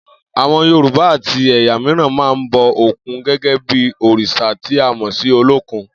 Àwo̩n Yorùbá àti è̩yà mìíràn máa ń bo̩ òkun gé̩gé̩ bí òrìs̩à tí a mò̩ sí Olókun